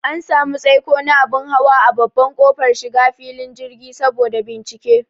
An samu tsaiko na abun hawa a babban kofar shiga filin jirgi saboda bincike